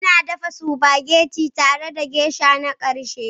Ina dafa spaghetti tare da Geisha na ƙarshe.